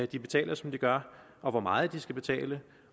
de betaler som de gør og hvor meget de skal betale